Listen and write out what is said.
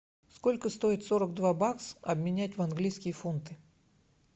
сколько стоит сорок два бакса обменять в английские фунты